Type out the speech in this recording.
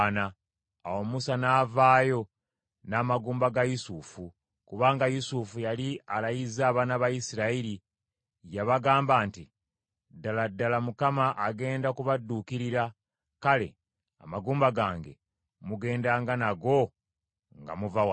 Awo Musa n’avaayo n’amagumba ga Yusufu, kubanga Yusufu yali alayizza abaana ba Isirayiri. Yabagamba nti, “Ddala, ddala Mukama agenda kubadduukirira. Kale, amagumba gange mugendanga nago nga muva wano.”